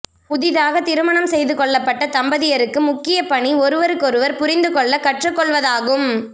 புதிதாக திருமணம் செய்து கொள்ளப்பட்ட தம்பதியருக்கு முக்கிய பணி ஒருவருக்கொருவர் புரிந்துகொள்ள கற்றுக்கொள்வதாகும்